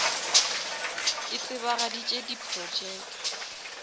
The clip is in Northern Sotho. e tsebagaditše di projeke